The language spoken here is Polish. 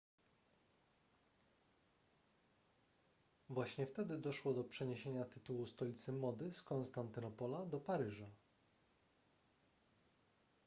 właśnie wtedy doszło do przeniesienia tytułu stolicy mody z konstantynopola do paryża